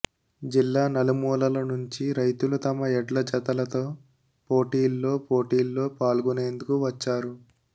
జిల్లా నలుమూలల నుంచి రైతులు తమ ఎడ్లజతలతో పోటీల్లో పోటీల్లో పాల్గొనేందుకు వచ్చారు